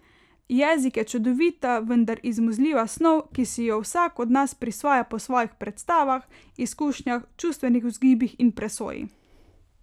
Jezik je čudovita, vendar izmuzljiva snov, ki si jo vsak od nas prisvaja po svojih predstavah, izkušnjah, čustvenih vzgibih in presoji.